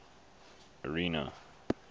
area